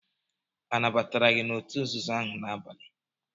Anabatara gị n'òtù nzuzo ahụ n'abalị?